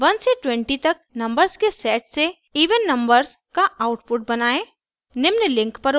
1 से 20 तक नंबर्स के सेट से इवन even नंबर्स का आउटपुट बनायें